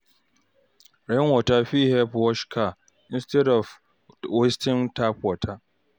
Rain water fit help wash car instead of wasting tap water.